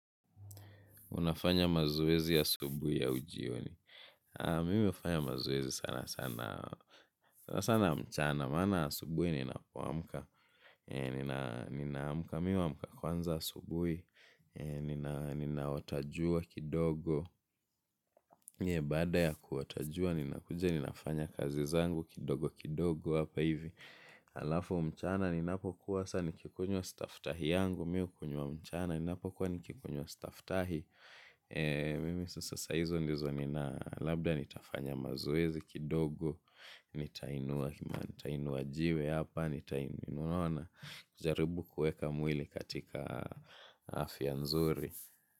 Unafanya mazoezi asubuhi au jioni. Mimi hufanya mazoezi sana sana mchana. Maana asubuhi ninapoamka. Ninaamka mimi huamka kwanza asubuhi. Ninaota jua kidogo. Baada ya kuota jua ninakuja ninafanya kazi zangu kidogo kidogo. Alafu mchana ninapokuwa sa nikikunywa staftahi yangu. Mimi hukunywa mchana ninapokuwa nikikunywa staftahi. Mimi sasa saa hizo ndizo nina labda nitafanya mazoezi kidogo. Nitainua kima, nitainua jiwe hapa, unaona, jaribu kuweka mwili katika afya nzuri.